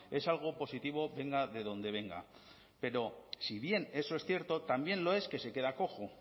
es algo positivo venga de donde venga pero si bien eso es cierto también lo es que se queda cojo